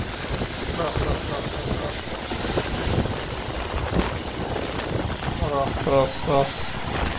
раз раз раз раз раз раз раз раз